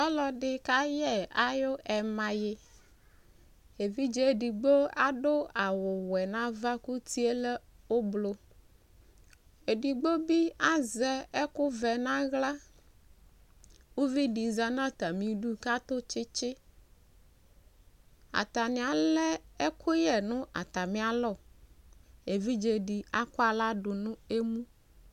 Ɔlɔde ka yɛ ayu ɛmaye evidze edigbo ado awuwɛ nava ko uti lɛ ublu Ɛdigbo be azɛ ɛkuvɛ nahla Uvi de zati na atame du katɔ tsetseAtane alɛ ɛkuyɛ no atame alɔEvidze de akɔ ahla do no emu